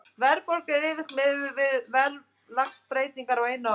Verðbólga er yfirleitt miðuð við verðlagsbreytingar á einu ári.